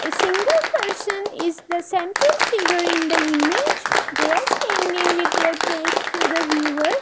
A single person is the central figure in the image they are standing with their back to the viewer.